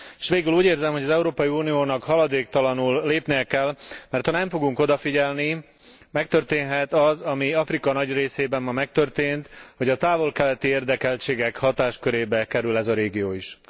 S végül úgy érzem, hogy az Európai Uniónak haladéktalanul lépnie kell, mert ha nem fogunk odafigyelni, megtörténhet az, ami Afrika nagy részében ma megtörtént, hogy a távol keleti érdekeltségek hatáskörébe kerül ez a régió is.